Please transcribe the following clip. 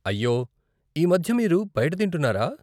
అయ్యో, ఈ మధ్య మీరు బయట తింటున్నారా?